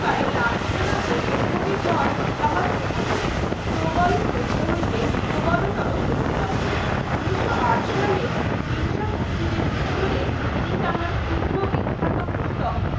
বারি লাঞ্ছনা ও দূর্ভোগের পর তাহা ক্রমসই প্রবল হইতে হইতে প্রবলতর হইতে লাগিলো ঊনিশো আট সালে হিংসা পথনিদের উওরে তিনি তিনি তাঁহার ক্ষুদ্র বিখ্যাত পুস্তক